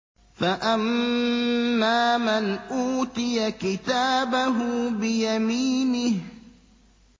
فَأَمَّا مَنْ أُوتِيَ كِتَابَهُ بِيَمِينِهِ